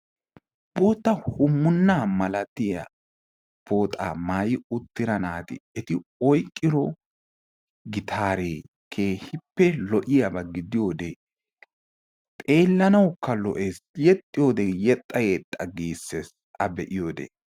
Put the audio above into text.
Bootta hummuna malatiya pooxa maayyi uttida naati oyqqiro gitaare keehippe lo''iyaaba gidiyoode keehippe lo''ees. yexxiyoode yexxa yexxa giissees a be'iyoode.